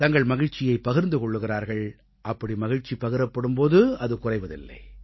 தங்கள் மகிழ்ச்சியைப் பகிர்ந்து கொள்கிறார்கள் அப்படி மகிழ்ச்சி பகிரப்படும் போது அது குறைவதில்லை